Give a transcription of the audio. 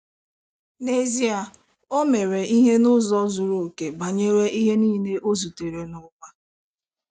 N'ezie,, o mere ihe n'ụzọ zuru okè banyere ihe nile ọ zutere n'ụwa.